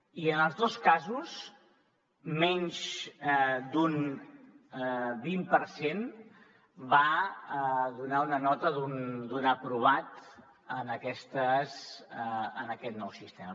i en els dos casos menys d’un vint per cent va donar una nota d’un aprovat en aquest nou sistema